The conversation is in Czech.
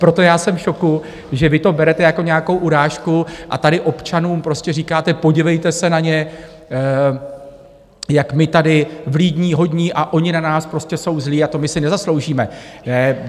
Proto já jsem v šoku, že vy to berete jako nějakou urážku a tady občanům prostě říkáte - podívejte se na ně, jak my tady vlídní, hodní, a oni na nás prostě jsou zlí a to my si nezasloužíme.